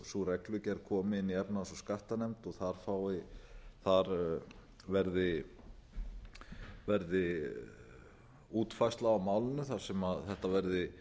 sú reglugerð komi inn í efnahags og skattanefnd og þar verði útfærsla á málinu þar sem þetta verði